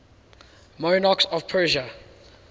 monarchs of persia